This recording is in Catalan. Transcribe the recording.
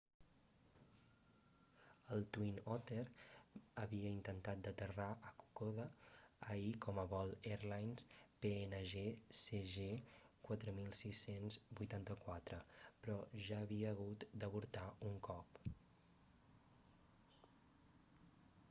el twin otter havia intentat d'aterrar a kokoda ahir com a vol airlines png cg 4684 però ja havia hagut d'avortar un cop